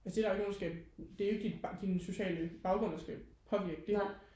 altså det er der jo ikke nogen der skal det er jo ikke din sociale baggrund der skal påvirke det